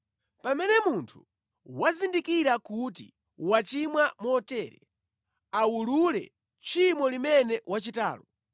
“ ‘Pamene munthu wazindikira kuti wachimwa motere, awulule tchimo limene wachitalo.